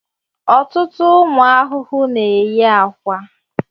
Ọtụtụ ụmụ ahụhụ na-eyi akwa.